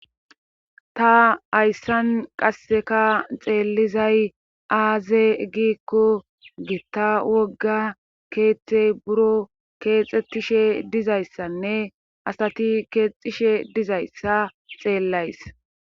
ta hayssan qasseka xeellizay aaze giikko giitta wogga keeththey buro keexxettishe dizayssanne asati keexishshe dizayssa xeellays